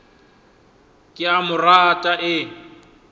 ke a mo rata e